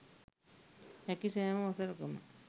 හැකි සෑම වසරකම